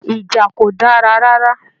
Ìjà kò dára rárá.